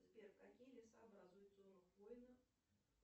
сбер какие леса образуют зону хвойных